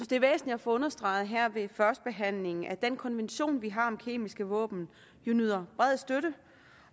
det er væsentligt at få understreget her ved førstebehandlingen at den konvention vi har om kemiske våben jo nyder bred støtte